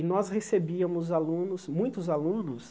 E nós recebíamos alunos, muitos alunos,